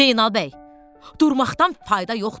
Zeynal bəy, durmaqdan fayda yoxdur.